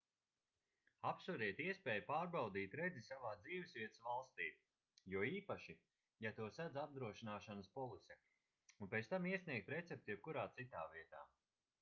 apsveriet iespēju pārbaudīt redzi savā dzīvesvietas valstī jo īpaši ja to sedz apdrošināšanas polise un pēc tam iesniegt recepti jebkurā citā vietā